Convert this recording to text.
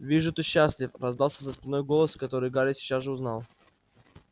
вижу ты счастлив раздался за спиной голос который гарри сейчас же узнал